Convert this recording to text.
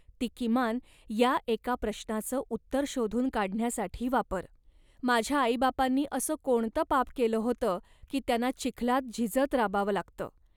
ती किमान या एका प्रश्नाचं उत्तर शोधून काढण्यासाठी वापर. माझ्या आईबापांनी असं कोणतं पाप केलं होतं, की त्यांना चिखलात झिजत राबावं लागतं